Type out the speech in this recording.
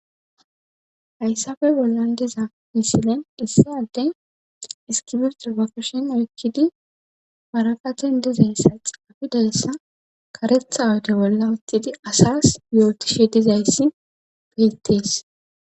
hayssafe bollan diza misilen issadey iskibistrabafushin oykkidi waraqaten dizayssa xaafidayssa karetha wode bolla utidi asas yootishe dizayssi beettees